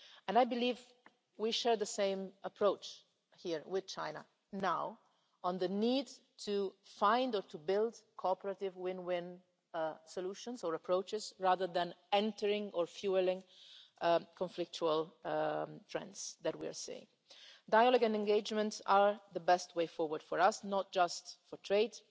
I believe we share the same approach here with China now on the need to find, or to build, cooperative win-win solutions and approaches, rather than entering on, or fuelling, the conflictual trends we are seeing. Dialogue and engagement are the best way forward for us, not just